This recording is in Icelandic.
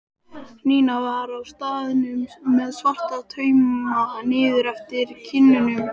Nína var á staðnum með svarta tauma niður eftir kinnunum.